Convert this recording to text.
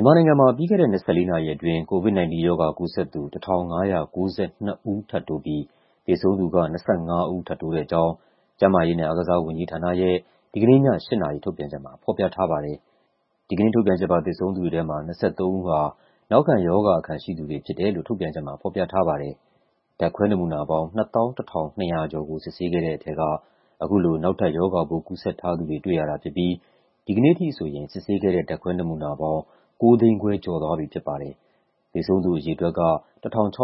မြန်မာနိုင်ငံမှာ ပြီးခဲ့တဲ့ ၂၄ နာရီအတွင်း COVID-19 ရောဂါကူးစက်သူ ၁,၅၉၂ ဦး ထပ်တိုးပြီး သေဆုံးသူက ၂၅ ဦး ထပ်တိုးတဲ့အကြောင်း ကျန်းမာရေးနဲ့အားကစားဝန်ကြီးဌာနရဲ့ ဒီကနေ့ည ၈ နာရီ ထုတ်ပြန်ချက်မှာ ဖော်ပြထားပါတယ်။ ဒီကနေ့ထုတ်ပြန်ချက်ပါ သေဆုံးသူတွေထဲမှာ ၂၃ ဦးက နောက်ခံရောဂါအခံရှိသူတွေဖြစ်တယ်လို့ ထုတ်ပြန်ချက်မှာ ဖော်ပြထားပါတယ်။ ဓာတ်ခွဲနမူနာပေါင်း ၂၁,၂၃၂ ခုကို စစ်ဆေးခဲ့တဲ့ထဲက အခုလို နောက်ထပ် ရောဂါပိုးကူးစက်ထားသူတွေ တွေ့ရတာဖြစ်ပြီး ဒီကနေ့အထိဆိုရင် စစ်ဆေးခဲ့တဲ့ ဓာတ်ခွဲနမူနာပေါင်း ၉၅၁,၃၁၄ ခု ရှိသွားပြီဖြစ်ပါတယ်။ သေဆုံးသူအရေအတွက်က ၁,၆၅